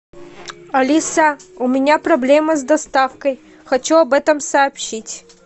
алиса у меня проблема с доставкой хочу об этом сообщить